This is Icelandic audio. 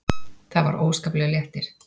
Það var óskaplegur léttir.